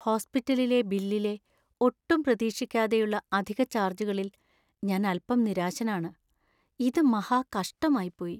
ഹോസ്പിറ്റലിലെ ബില്ലിലെ ഒട്ടും പ്രതീക്ഷിക്കാതെയുള്ള അധിക ചാർജുകളിൽ ഞാൻ അൽപ്പം നിരാശനാണ്, ഇത് മഹാ കഷ്ടമായിപ്പോയി.